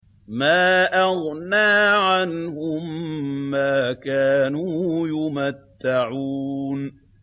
مَا أَغْنَىٰ عَنْهُم مَّا كَانُوا يُمَتَّعُونَ